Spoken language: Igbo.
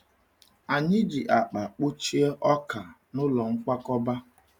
Anyị ji akpa kpọchie ọka n’ụlọ nkwakọba.